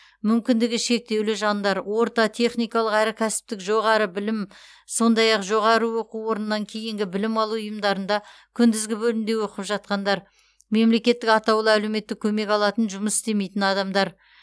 мүмкіндігі шектеулі жандар орта техникалық әрі кәсіптік жоғары білім сондай ақ жоғары оқу орыннан кейінгі білім алу ұйымдарында күндізгі бөлімде оқып жатқандар мемлекеттік атаулы әлеуметтік көмек алатын жұмыс істемейтін адамдар